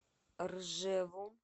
ржеву